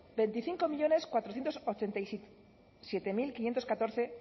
veinticinco millónes cuatrocientos ochenta y siete mil quinientos catorce